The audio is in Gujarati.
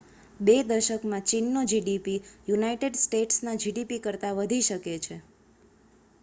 બે દશકમાં ચીનનો gdp યુનાઇટેડ સ્ટેટ્સના gdp કરતાં વધી શકે છે